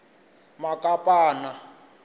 makapana